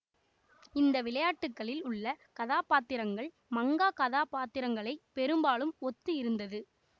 இந்த விளையாட்டுக்களில் உள்ள கதாபாத்திரங்கள் மங்கா கதாபத்திரங்களை பெரும்பாலும் ஒத்து இருந்தது